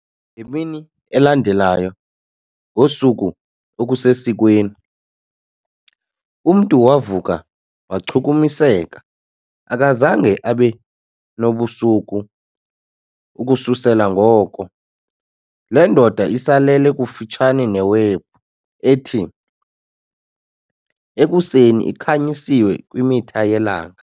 Ngemini elandelayo ngosuku okusesikweni, umntu wavuka wachukumiseka, akazange abe nobusuku. Ukususela ngoko, le ndoda isalele kufutshane neWebhu ethi, ekuseni, ikhanyisiwe kwimitha yelanga.